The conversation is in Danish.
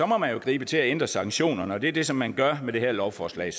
må man jo gribe til at ændre sanktionerne og det er det som man gør med det her lovforslag